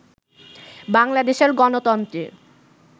বাংলাদেশের গণতন্ত্রের